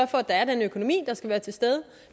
for at den økonomi der skal være til stede